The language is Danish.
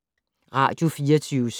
Radio24syv